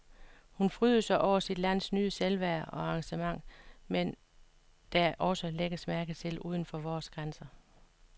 Hun frydede sig over sit lands nye selvværd og engagement, som der også lægges mærke til uden for vores grænser.